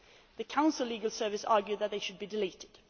The Council's legal service argued they should be deleted.